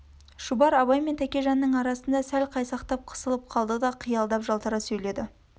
шұбар абай мен тәкежанның арасында сәл қайсақтап қысылып қалды да қиялап жалтара сөйледі